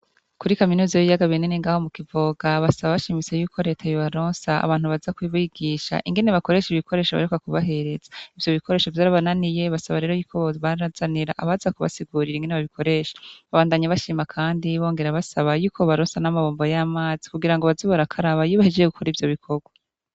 Kuri kaminuza y'ibiyaga binini ng'aho mu Kivoga, basaba bashimitse yuko leta yobaronsa abantu baza kubigisha ingene bakoresha ibikoresho baheruka kubahereza. Ivyo bikoresho vyari vyarabananiye, basaba rero y'uko bobazanira abaza kubasigura ingene babikoresha. Babandanye bashima kandi bongera basaba yuko bobaronsa n'amabombo y'amazi, kugira ngo baze barakaraba iyo bahejeye gukora ivyo bikobwa.